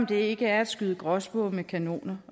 det ikke at skyde gråspurve med kanoner